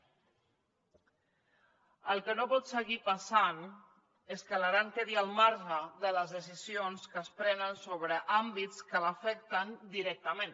el que no pot seguir passant és que l’aran quedi al marge de les decisions que es prenen sobre àmbits que l’afecten directament